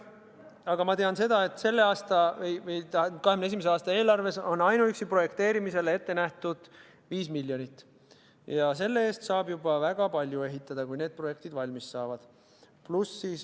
Aga ma tean seda, et 2021. aasta eelarves on ainuüksi projekteerimisele ette nähtud 5 miljonit eurot ja selle eest saab juba väga palju ehitada, kui need projektid valmis saavad.